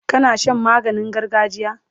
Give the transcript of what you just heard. kana Shan maganin gargajiya?